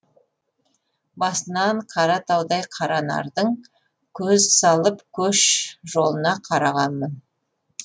басынан қаратаудай қара нардың көз салып көш жолына қарағанмын